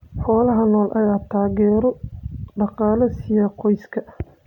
Xoolaha nool ayaa taageero dhaqaale siiya qoysaska.